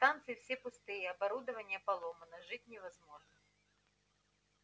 станции все пустые оборудование поломано жить невозможно